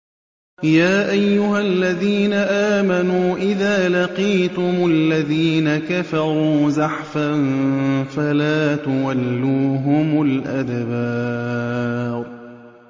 يَا أَيُّهَا الَّذِينَ آمَنُوا إِذَا لَقِيتُمُ الَّذِينَ كَفَرُوا زَحْفًا فَلَا تُوَلُّوهُمُ الْأَدْبَارَ